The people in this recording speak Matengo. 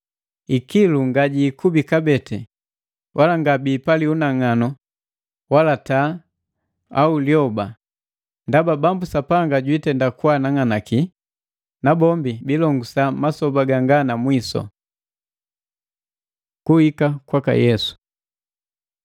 Ikilu ngajiikubi kabee, wala ngabiipali unang'anu wa taa au wa lyoba, ndaba Bambu Sapanga jwiitenda kwaanang'anaki, nabombi biilongusa masoba ganga na mwisu. Kuhika kwaka Yesu